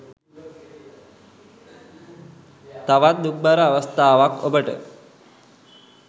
තවත් දුක්බර අවස්ථාවක් ඔබට